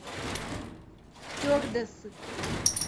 стюардессы